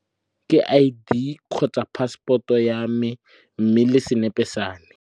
Ke I_D kgotsa passport-o yame mme le senepe same.